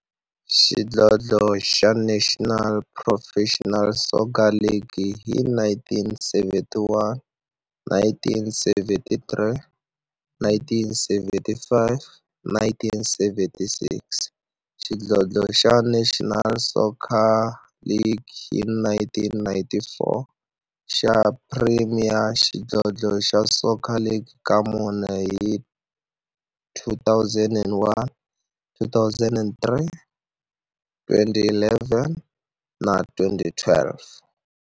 xidlodlo xa National Professional Soccer League hi 1971, 1973, 1975 na 1976, xidlodlo xa National Soccer League hi 1994, na Premier Xidlodlo xa Soccer League ka mune, hi 2001, 2003, 2011 na 2012.